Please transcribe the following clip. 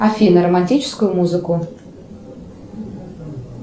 афина романтическую музыку